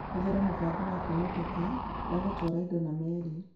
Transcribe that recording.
Hũthĩra mũbango wa kwĩhokeka wa gũtwara indo na meri